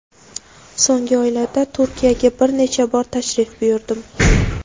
So‘nggi oylarda Turkiyaga bir necha bor tashrif buyurdim.